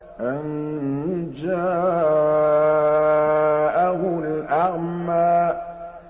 أَن جَاءَهُ الْأَعْمَىٰ